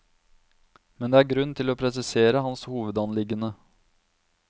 Men det er grunn til å presisere hans hovedanliggende.